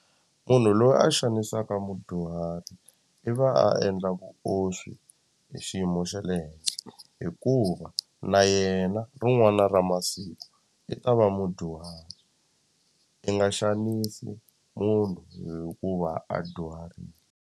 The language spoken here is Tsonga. Munhu loyi a xanisaka mudyuhari i va a endla vuoswi hi xiyimo xa le henhla hikuva na yena rin'wana ra masiku i ta va mudyuhari i nga xanisi munhu hikuva a dyuharile.